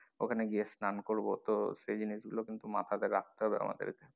ওখানে গিয়ে স্নান করবো তো সেই জিনিস গুলো মাথা তে রাখতে হবে আমাদের কে।